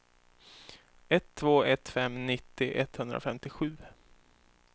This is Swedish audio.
ett två ett fem nittio etthundrafemtiosju